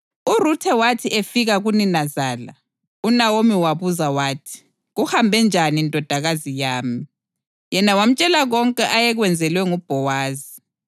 URuthe wathi efika kuninazala, uNawomi wabuza wathi, “Kuhambe njani ndodakazi yami?” Yena wamtshela konke ayekwenzelwe nguBhowazi,